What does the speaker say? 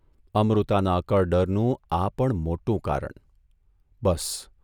અમૃતાના અકળ ડરનું આ પણ મોટું કારણ બસ !